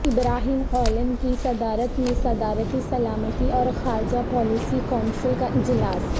ابراہیم Kalin کی صدارت میں صدارتی سلامتی اور خارجہ پالیسی کونسل کا اجلاس